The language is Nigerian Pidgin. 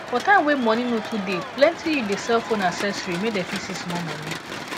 for time wey money no too dey plenti youth dey sell phone accessory make dem fit see small money